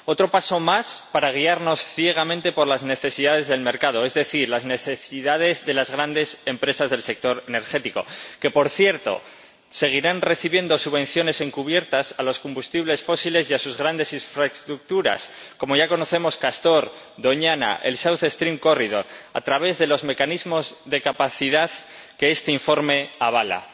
Otro paso más para guiarnos ciegamente por las necesidades del mercado, es decir, las necesidades de las grandes empresas del sector energético, que, por cierto, seguirán recibiendo subvenciones encubiertas a los combustibles fósiles y a sus grandes infraestructuras, como ya conocemos —Castor, Doñana, el South Stream Corridor—, a través de los mecanismos de capacidad que este informe avala.